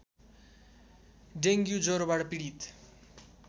dengue ज्वरोबाट पीडित